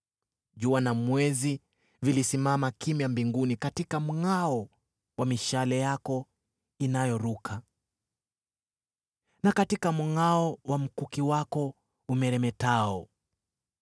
Jua na mwezi vilisimama kimya mbinguni katika mngʼao wa mishale yako inayoruka, na katika mngʼao wa mkuki wako umeremetao.